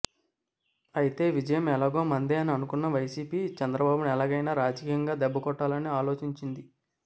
అయితే విజయం ఎలాగో మందే అని అనుకున్న వైసీపీ చంద్రబాబును ఎలాగైనా రాజకీయంగా దెబ్బకొట్టాలని ఆలోచించింది